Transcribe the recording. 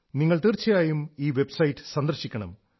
നിങ്ങൾ തീർച്ചയായും ഈ വെബ്സൈറ്റ് സന്ദർശിക്കണം